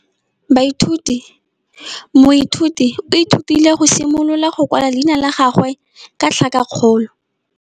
Moithuti o ithutile go simolola go kwala leina la gagwe ka tlhakakgolo.